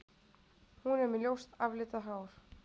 Hún er með ljóst aflitað hár